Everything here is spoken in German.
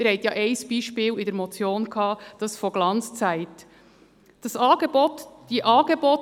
In der Motion war ja das Beispiel von «Glanzzeit» erwähnt.